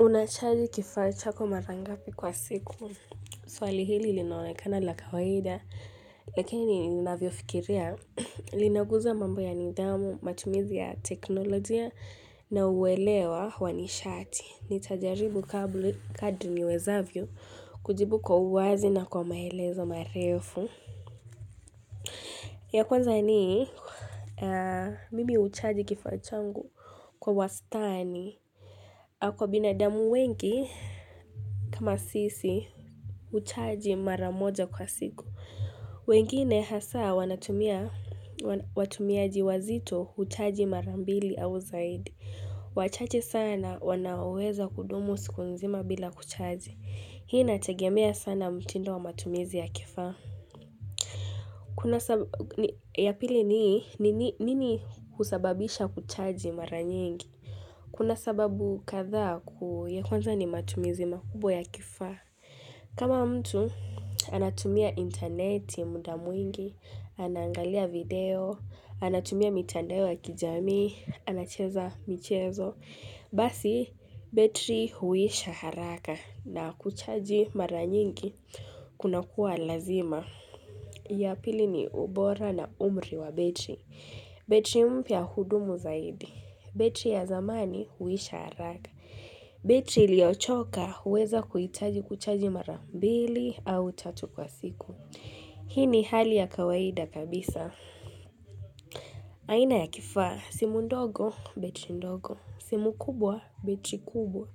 Unacharge kifaa chako mara ngapi kwa siku. Swali hili linaonekana la kawaida. Lakini unavyofikiria. Linaguza mambo ya nidhamu, matumizi ya teknolojia na uelewa wa nishati. Nitajaribu kadri niwezavyo kujibu kwa uwazi na kwa maelezo marefu. Ya kwanza nii. Mimi hucharge kifaa changu kwa wastani. Kwa binadamu wengi. Kama sisi, huchaji mara moja kwa siku. Wengine hasa, watumiaji wazito huchaji mara mbili au zaidi. Wachache sana, wanaoweza kudumu siku nzima bila kuchaji. Hii inategemea sana mtindo wa matumizi ya kifaa. Ya pili ni, nini husababisha kuchaji mara nyingi? Kuna sababu kadha, ya kwanza ni matumizi makubwa ya kifaa. Kama mtu anatumia interneti muda mwingi, anangalia video, anatumia mitandeo ya kijamii, anacheza michezo, basi betri huisha haraka na kuchaji mara nyingi kuna kuwa lazima. Ya pili ni ubora na umri wa betri. Betri mpya hudumu zaidi betri ya zamani huisha haraka betri iliyochoka huweza kuitaji kuchaji mara mbili au tatu kwa siku Hii ni hali ya kawaida kabisa aina ya kifaa. Simu ndogo betri ndogo simu kubwa betri kubwa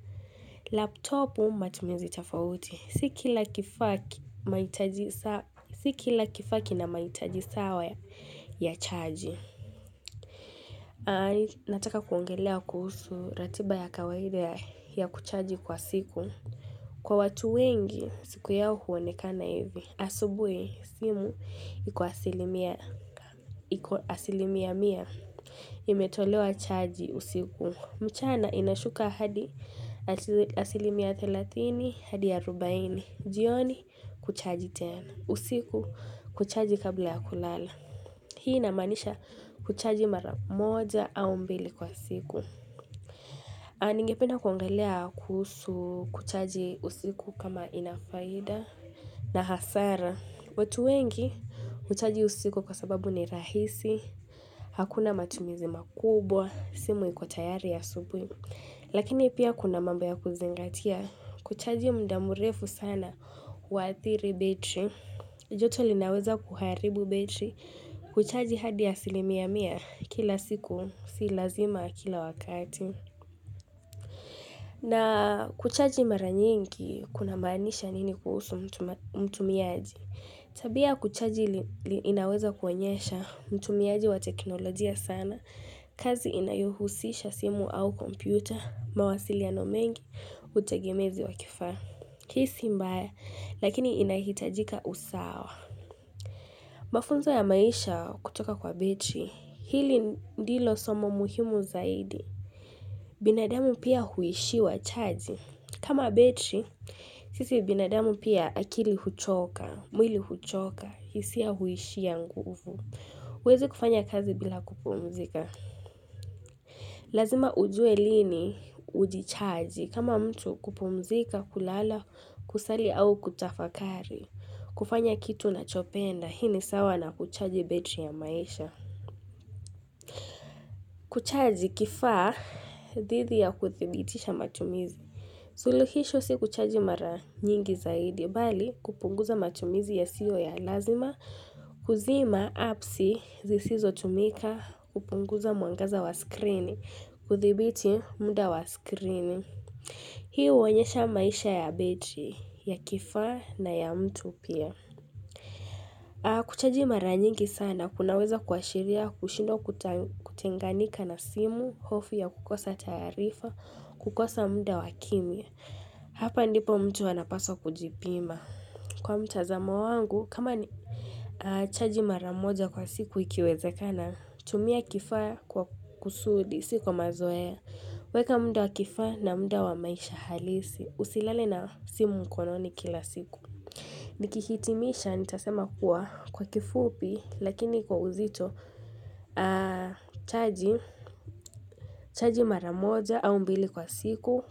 Laptopu matumizi tafauti. Si kila kifaa mahitaji sawa. Si kila kifaa ki a mahitaji sawa ya chaji nataka kuongelelea kuhusu ratiba ya kawaida ya kucharge kwa siku kwa watu wengi siku yao huonekana hivi asubuhi simu iko asilimia asilimia mia. Imetolewa chaji usiku. Mchana inashuka hadi asilimia 30 hadi 40 jioni kucharge tena usiku kucharge kabla ya kulala hii inamaanisha kuchaji mara moja au mbili kwa siku. Ningependa kwangelelea kuhusu kuchaji usiku kama ina faida na hasara. Watu wengi huchaji usiku kwa sababu ni rahisi. Hakuna matumizi makubwa. Simu iko tayari ya asubuhi. Lakini pia kuna mambo ya kuzingatia. Kuchaji mda mrefu sana huadhiri betri. Joto linaweza kuharibu betri. Kuchaji hadi asilimia mia kila siku. Si lazima kila wakati. Na kuchaji mara nyingi, kunamaanisha nini kuhusu mtumiaji. Tabia ya kuchaji inaweza kuonyesha mtumiaji wa teknolojia sana. Kazi inayohusisha simu au kompyuta, mawasiliano mengi, utagemezi wa kifaa. Hii si mbaya, lakini inahitajika usawa. Mafunzo ya maisha kutoka kwa betri, hili ndilo somo muhimu zaidi. Binadamu pia huishiwa chaji kama betri Sisi binadamu pia akili huchoka mwili huchoka hisia huishia nguvu huwezi kufanya kazi bila kupumzika. Lazima ujue lini ujichaji kama mtu kupumzika kulala kusali au kutafakari kufanya kitu unachopenda hii ni sawa na kuchaji betri ya maisha Kuchaji kifaa dhidi ya kuthibitisha matumizi Zuluhisho si kuchaji mara nyingi zaidi, bali kupunguza matumizi yasiyo ya lazima, kuzima apsi zisizotumika kupunguza mwangaza wa screen, kuthibiti muda wa screen. Hii huonyesha maisha ya betri, ya kifa na ya mtu pia. Kuchaji mara nyingi sana, kunaweza kuashiria, kushindwa kutenganika na simu, hofu ya kukosa taarifa, kukosa mda wa kimya Hapa ndipo mtu anapaswa kujipima. Kwa mtazamo wangu, kama ni chaji mara moja kwa siku ikiwezekana, tumia kifaa kwa kusudi, si kwa mazoea weka mda wa kifaa na mda wa maisha halisi, usilale na simu mkononi kila siku Nikihitimisha nitasema kuwa kwa kifupi lakini kwa uzito chaji mara moja au mbili kwa siku.